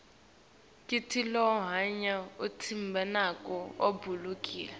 kitilolonya umtimba nako kubalulekile